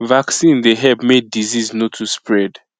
vaccine dey help make disease no too spread